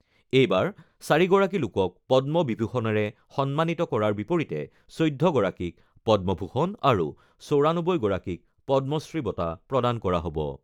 এইবাৰ ৪গৰাকী লোকক পদ্ম বিভূষণেৰে সন্মানিত কৰাৰ বিপৰীতে ১৪গৰাকীক পদ্মভূষণ আৰু ৯৪গৰাকীক পদ্মশ্ৰী বঁটা প্ৰদান কৰা হ'ব।